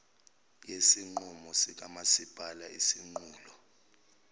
yesinqumo sikamasipala isinqulo